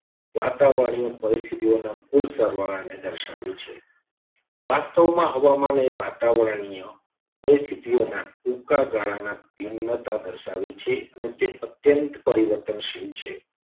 વાતાવરણીય પરિસ્થિતિઓના કુલ સરવાળાને દર્શાવે છે. વાસ્તવમાં હવામાન એ વાતાવરણીય પરિસ્થિતિઓના ટૂંકા ગાળાના ભિન્નતા દર્શાવે છે. અને તે અત્યંત પરિવર્તનશીલ છે.